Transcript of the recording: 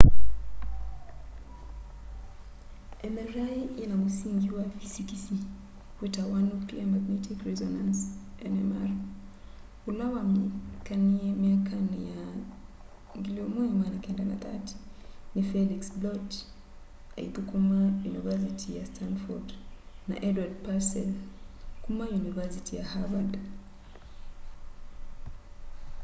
mri yina mũsingĩ wa fisikisi witawa nuclear magnetic resonance nmr ula wamanyikanie myakani ya 1930 ni felix bloch aithukuma yunivasiti ya stanford na edward purcell kuma yunivasiti ya harvard